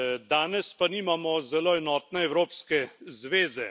Danes pa nimamo zelo enotne Evropske zveze.